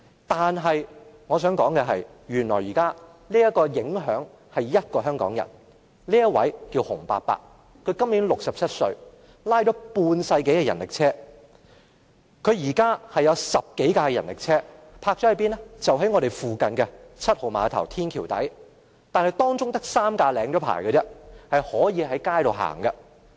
但我想說的是，原來現在有一位香港人受到影響，就是洪伯伯，他今年67歲，拉了半世紀人力車，他有10多輛人力車停泊在附近的7號碼頭天橋底，當中只有3輛已領牌，可以在街道上行走。